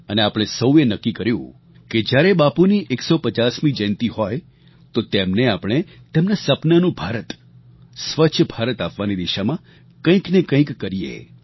અને આપણે સૌએ નક્કી કર્યું કે જ્યારે બાપુની 150મી જયંતી હોય તો તેમને આપણે તેમના સપનાંનું ભારત સ્વચ્છ ભારત આપવાની દિશામાં કંઈકને કંઈક કરીએ